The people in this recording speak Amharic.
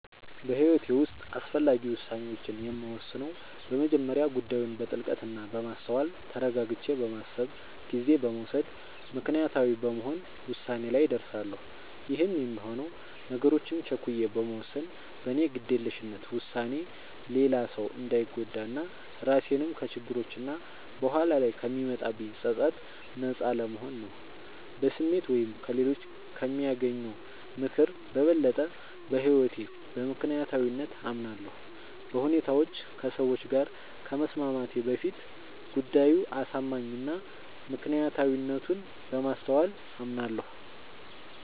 በህይወቴ ዉስጥ አስፈላጊ ዉሳኔዎችን የምወስነው በመጀመሪያ ጉዳዩን በጥልቀት እና በማስተዋል ተረጋግቼ በማሰብ ጊዜ በመዉሰድ ምክንያታዊ በመሆን ዉሳኔ ላይ እደርሳለሁ ይህም የሚሆነው ነገሮችን ቸኩዬ በመወሰን በኔ ግዴለሽነት ዉሳኔ ሌላ ሰዉ እንዳንጎዳ እና ራሴንም ከችግሮች እና በኋላ ላይ ከሚመጣብኝ ፀፀት ነጻ ለመሆን ነዉ። በስሜት ወይም ከሌሎች ከሚያገኘው ምክር በበለጠ በህይወቴ በምክንያታዊነት አምናለሁ፤ በሁኔታዎች ከሰዎች ጋር ከመስማማቴ በፊት ጉዳዩ አሳማኝ እና ምክንያታዊነቱን በማስተዋል አምናለሁ።